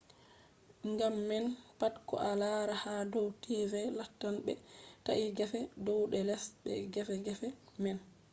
gam man pat ko a laari ha dow tv lattan ɓe ta’i gefe dow be les be gefe gefe man